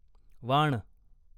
वाण